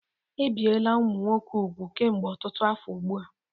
Ebiela ụmụ nwoke úgwù kemgbe ọtụtụ afọ ugbu a.